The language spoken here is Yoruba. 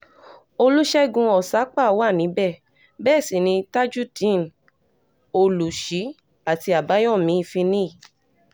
olùṣègùn òsápà wà níbẹ̀ bẹ́ẹ̀ sì ni tajudeen olùṣí àti àbáyọ̀mí finnih